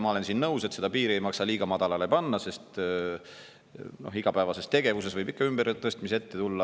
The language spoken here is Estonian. Ma olen nõus, et seda piiri ei maksa liiga madalale panna, sest igapäevases tegevuses võib ikka ümbertõstmisi ette tulla.